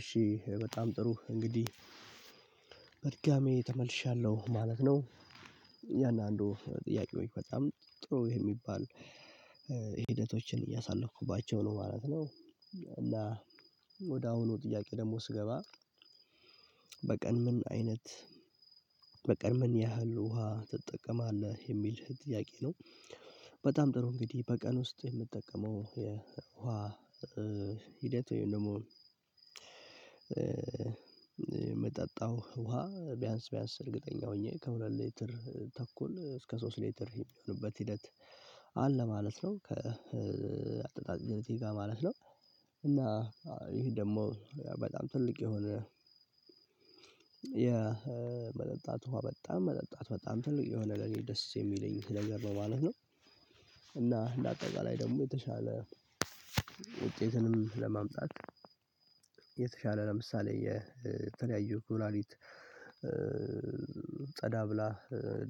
እሺ በጣም ጥሩ እንግዲህ በድጋሚ ተመልሻለሁ ማለት ነው። ያን አንዱ ጥያቄው በጣም ጥሩ የሚባል ሂደቶችን እያሳለፉኩባቸው ነው ማለት ነው እና ወደ አሁኑ ጥያቄ ደግሞ ስገባ ምን አይነት በቀን ምን ያህል ውሃ ትጠቀማለህ? የሚል ጥያቄ ነው በጣም ጥሩ እንግዲህ በቀን ውስጥ የምጠቀመው የውሃ ሂደት ወይም ደግሞ የምጠጣው ውሃ ቢያንስ ቢያንስ እርግጠኛ ሆኜ ከሁለት ሌትር ተኩል እስከ ሶስት ሌትር የሚሆንበት ሂደት አለ ማለት ነው ከአጠጣጥ ጋ ማለት ነው። እና ይሄ ደግሞ በጣም ትልቅ የሆነ ያ መጠጣት ውሃ በጣም መጠጣት በጣም ትልቅ የሆነ ለኔ ደስ የሚለኝ ለገረባህ ነው። እና ለአጠቃላይ ደግሞ የተሻለ ውጤትንም ለማምጣት የተሻለ ለምሳሌ የተለያዩ ኩላሊት ጸዳ ብላ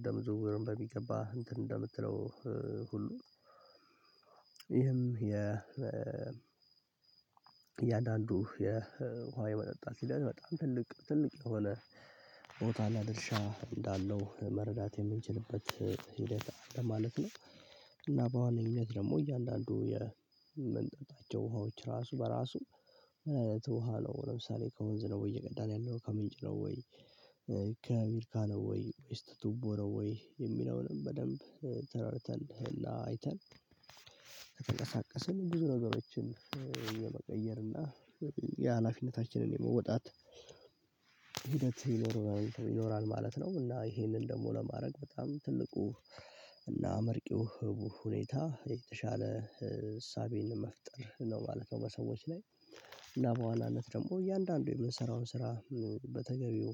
ደም ዝውውር በሚገባ እንትን እንደምትለው ሁሉ ይህም የ የአንዳንዱ የውሃ የመጠጣት ሲለያይ በጣም ትልቅ ትልቅ የሆነ ቦታና ድርሻ እንዳለው መረዳት የምንችልበት ማለት ነው እና በዋነኝነት ደግሞ እያንዳንዱ የመንጠጣቸው ውሃዎች ራሱ በራሱ ምን አይነቱ ሃሎ ለምሳሌ ከወንዝ ነው ወይ እየቀዳን ያለው ከምንጭ ነው ወይ ከሚርካ ነው ወይ ዌስት ቱቦ ነው ወይ የሚለውንም በደንብ ተራርተን እና አይተን ከተንቀሳቀስን ብዙ ነገሮችን እየመቀየርን እና የሀላፊነታችንን የመወጣት ሂደት ይኖራል ይኖራል ማለት ነው እና ይሄንን ደግሞ ለማድረግ በጣም ትልቁ እና አመርቂው ህቡ ሁኔታ የተሻለ ህሳቤን መፍጠር ነው ማለት ነው በሰዎች ላይ እና በዋናነት ደግሞ እያንዳንዱ የምንሰራውን ስራ በተገቢው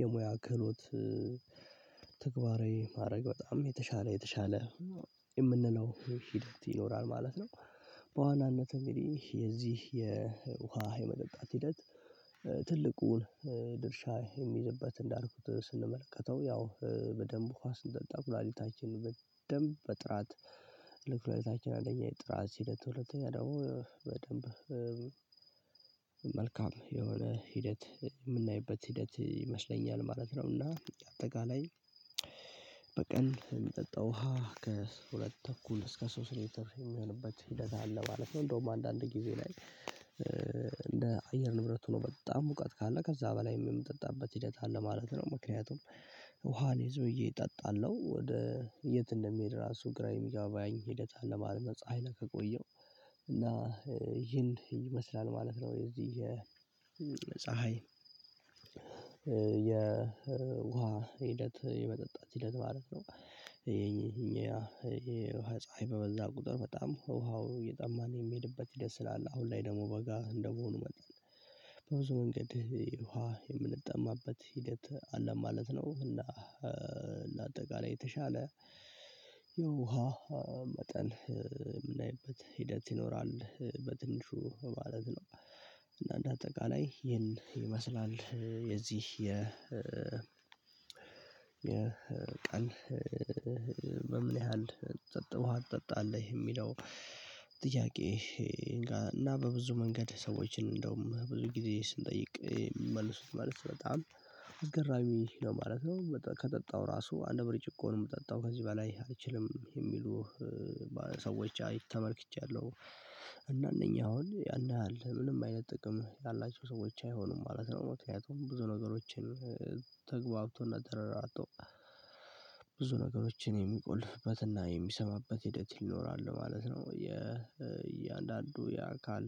የሙያ ክህሎት ተግባሬ ማድረግ በጣም የተሻለ የተሻለ የምንለው ሂደት ይኖራል ማለት ነው። በዋናነት እንግዲህ የዚህ የውሃ የመጠጣት ሂደት ትልቁን ድርሻ የሚይዝበት እንዳልኩት ስንመለከተው ያው በደንብ ውሃ ስንጠጣ ፕላኔታችን በደንብ በጥራት ልክ ፍላጎታችን አንደኛ የጥራት ሂደት ሁለተኛ ደግሞ በደንብ መልካም የሆነ ሂደት የምናይበት ሂደት ይመስለኛል ማለት ነውና አጠቃላይ በቀን የሚጠጣው ውሃ ከሁለት ተኩል እስከ ሶስት ሊትር የሚሆንበት ሂደት አለ ማለት ነው እንደውም አንዳንድ ጊዜ ላይ እንደ አየር ንብረት ሆኖ በጣም ሙቀት ካለ ከዛ በላይም የምጠጣበት ሂደት አለ ማለት ነው ምክንያቱም ውሃን ይዘውዬ እጠጣለሁ ወደ የት እንደሚሄድ ራሱ ግራ የሚጋባኝ ሂደት አለ ማለት ፀሀይ ላይ ከቆየው እና ይሄን ይመስላል ማለት ነው የዚህ የፀሀይ የውሃ ሂደት የመጠጣት ሂደት ማለት ነው ይሄ እኛ ይሄ ውሃ ፀሀይ በበዛ ቁጥር በጣም ውሃው የጣማነው የሚሄድበት ሂደት ስላለ አሁን ላይ ደግሞ በጋ እንደመሆኑ መጣን በብዙ መንገድ ውሃ የምንጠማበት ሂደት አለ ማለት ነው እና ለአጠቃላይ የተሻለ የውሃ መጠን የምናይበት ሂደት ይኖራል በትንሹ ማለት ነው። እና እንደ አጠቃላይ ይህን ይመስላል የዚህ የ የቀን በምን ያህል ጠጥ ውሃ ትጠጣለህ የሚለው ጥያቄ እና በብዙ መንገድ ሰዎችን እንደውም ብዙ ጊዜ ስንጠይቅ የሚመልሱት መልስ በጣም አስገራሚ ነው ማለት ነው ከጠጣው ራሱ አንድ ብርጭቆ ነው የምጠጣው ከዚህ በላይ አልችልም የሚሉ ሰዎች ተመልክቻለሁ እና እነኛ አሁን ያን ያህል ምንም አይነት ጥቅም ያላቸው ሰዎች አይሆኑም ማለት ነው ሞት ያውት ብዙ ነገሮችን ተግባብቶና ተረራጦ ብዙ ነገሮችን የሚቆልፍበትና የሚሰማበት ሂደት ይኖራል ማለት ነው የእያንዳንዱ የአካል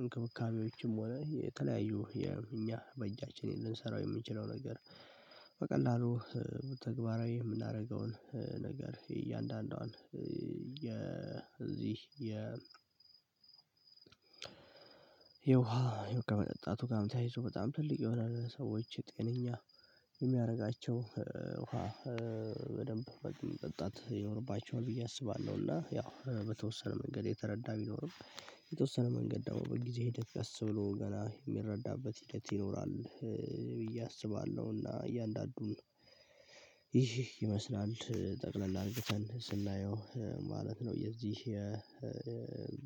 እንክብካቤዎችም ሆነ የተለያዩ የ እኛ በእጃችን ልንሰራው የምንችለው ነገር በቀላሉ ተግባራዊ ምናረገውን ነገር እያንዳንዷን የዚህ የ የውሃ የ ከመጠጣቱ ጋር ታያይዞ በጣም ትልቅ ይሆናል ሰዎች የጤነኛ የሚያደርጋቸው ውሃ በደንብ በግል መጠጣት ይኖርባቸዋል ብዬ አስባለሁ እና ያው በተወሰነ መንገድ የተረዳ ቢኖርም የተወሰነ መንገድ ደግሞ በጊዜ ሂደት ያሰብሎ ገና የሚረዳበት ይሄድ ይኖራል ብዬ አስባለሁና እያንዳንዱን ይህ ይመስላል ጠቅለል አርግተን ስናየው ማለት ነው የዚህ